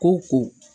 Ko ko